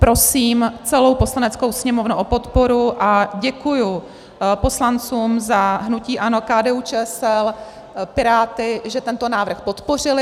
Prosím celou Poslaneckou sněmovnu o podporu a děkuji poslancům za hnutí ANO, KDU-ČSL, Piráty, že tento návrh podpořili.